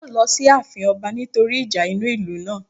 Wọn yóò lọ sí àfin ọba nítorí ìjà inú ìlú náà